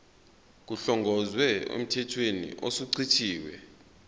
kuhlongozwe emthethweni osuchithiwe